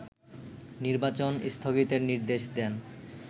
নির্বাচন স্থগিতের নির্দেশ দেন